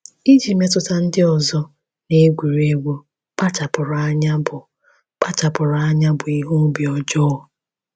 Iji mmetụta ndị ọzọ na-egwuri egwu kpachapụrụ anya bụ kpachapụrụ anya bụ ihe obi ọjọọ.